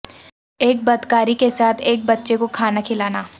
ایک بدکاری کے ساتھ ایک بچے کو کھانا کھلانا